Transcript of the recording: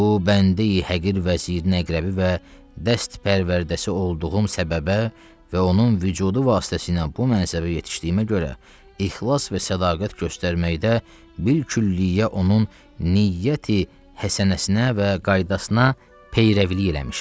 Bu bəndeyi-həqir vəzirə-əqrəbi və dəstpərvərdəsi olduğum səbəbə və onun vücudu vasitəsi ilə bu mənzəbə yetişdiyimə görə ixlas və sədaqət göstərməkdə bikülliyyə onun niyyəti-həsənəsinə və qaydasına peyrəvilik eləmişəm.